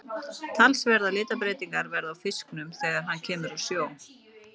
Talsverðar litabreytingar verða á fisknum þegar hann kemur úr sjó.